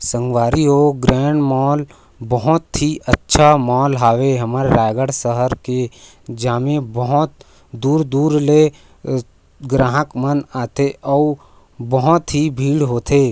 संगवारी हो grand mall बहुत ही अच्छा मॉल हावे हमर रायगढ़ शहर के जामें बहुत दूर-दूर ले अ ग्राहक मन आथे अऊ बहोत ही भीड़ होथे।